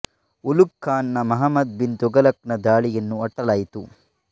ಉಲುಘ್ ಖಾನ್ ನ ಮಹ್ಮದ ಬಿನ್ ತಘಲಕ್ ನ ದಾಳಿಯನ್ನು ಅಟ್ಟಲಾಯಿತು